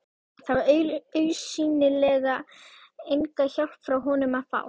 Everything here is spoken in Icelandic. Það var augsýnilega enga hjálp frá honum að fá.